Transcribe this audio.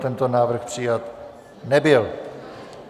Tento návrh přijat nebyl.